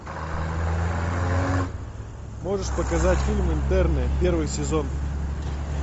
можешь показать фильм интерны первый сезон